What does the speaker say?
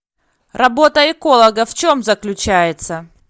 работа эколога в чем заключается